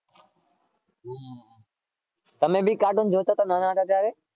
તમે બી કાર્ટૂન જોતાં હતાં નાના હતાં ત્યારે?